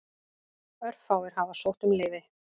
Örfáir hafa sótt um leyfi.